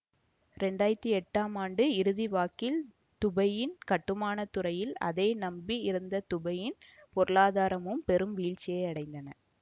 இரண்டு ஆயிரத்தி எட்டாம் ஆண்டு இறுதி வாக்கில் துபையின் கட்டுமான துறையும் அதை நம்பி இருந்த துபையின் பொருளாதாரமும் பெரும் வீழ்ச்சியை அடைந்தன